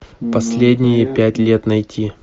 последние пять лет найти